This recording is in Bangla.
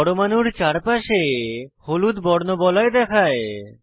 পরমাণুর চারপাশে হলুদ বর্ণবলয় দেখায়